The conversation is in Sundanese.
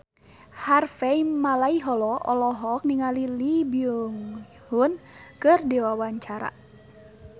Harvey Malaiholo olohok ningali Lee Byung Hun keur diwawancara